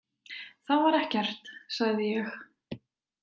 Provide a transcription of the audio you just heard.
Það var ekkert, sagði ég.